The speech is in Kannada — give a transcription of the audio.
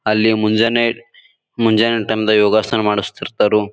ಅಲ್ಲಿ ಮುಂಜಾನೆ ಮುಂಜಾನೆ ಟೈಮ್ ದಾಗ ಯೋಗಾಸನ ಮಾಡಿಸ್ತಾ ಇರ್ತರು.